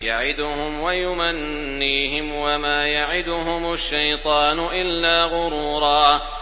يَعِدُهُمْ وَيُمَنِّيهِمْ ۖ وَمَا يَعِدُهُمُ الشَّيْطَانُ إِلَّا غُرُورًا